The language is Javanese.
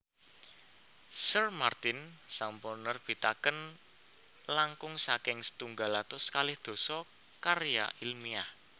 Sir Martin sampun nerbitaken langkung saking setunggal atus kalih dasa karya ilmiah